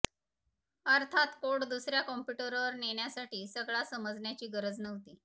अर्थात कोड दुसर्या कंप्युटरवर नेण्यासाठी सगळा समजण्याची गरज नव्हती